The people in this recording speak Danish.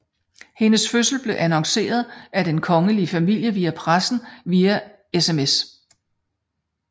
Hendes fødsel blev annonceret af den kongelige familie til pressen via SMS